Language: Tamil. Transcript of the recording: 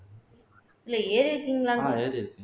இல்லை ஏறி இருக்கீங்களா